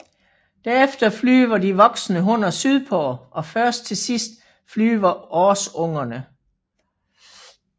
Derefter flyver de voksne hunner sydpå og først til sidst flyver årsungerne